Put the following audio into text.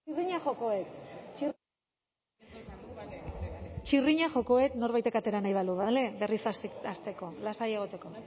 txirrina joko dut txi txirrina joko dut norbaitek atera nahi balu bale berriz hasteko lasai egoteko